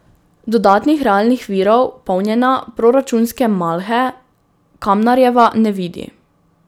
Dodatnih realnih virov polnjenja proračunske malhe Kamnarjeva ne vidi.